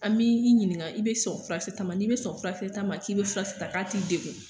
An m'i i ɲininga i be sɔn furakisɛ ta ma n'i be sɔn furakise ta ma k'i be furakisɛ ta k' a t'i degu